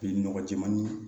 Bi nɔgɔ jɛmani